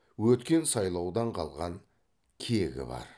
өткен сайлаудан қалған кегі бар